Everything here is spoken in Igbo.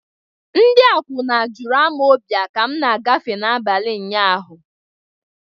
Ndị akwụna juru Amọbịa ka m na-agafe n'abalị ụnyaahụ.